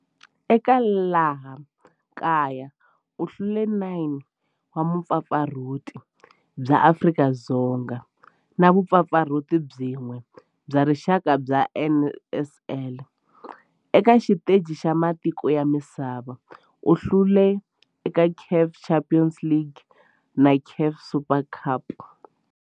Eka laha kaya u hlule 9 wa vumpfampfarhuti bya Afrika-Dzonga na vumpfampfarhuti byin'we bya rixaka bya NSL. Eka xiteji xa matiko ya misava, u hlule eka CAF Champions League na CAF Super Cup.